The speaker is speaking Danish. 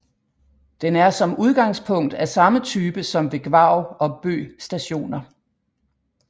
Den er som udgangspunkt af samme type som ved Gvarv og Bø Stationer